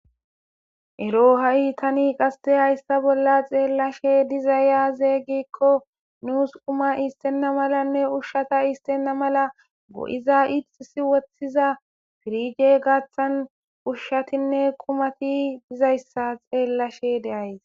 Erro tani hayi hayissa bollani beyashe dizayissi aze giko nussi quma issena melane ushsha issena mela go'ize nne irixisi wothida piriji beyayisi